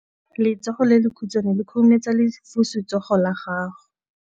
Letsogo le lekhutshwane le khurumetsa lesufutsogo la gago.